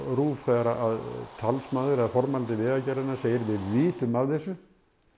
RÚV þegar talsmaður eða formælandi Vegagerðarinnar segir við vitum af þessu